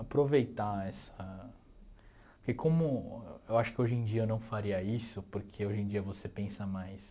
Aproveitar essa... Porque como... Eu acho que hoje em dia eu não faria isso, porque hoje em dia você pensa mais...